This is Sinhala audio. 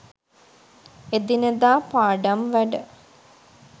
එදිනෙදා පාඩම් වැඩ